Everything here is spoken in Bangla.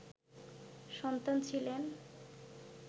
সন্তান ছিলেন